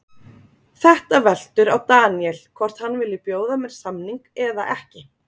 Þetta veltur á Daniel, hvort hann vilji bjóða mér samning eða ekki?